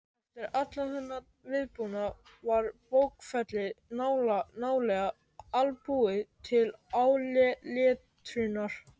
Eftir allan þennan viðbúnað var bókfellið nálega albúið til áletrunar.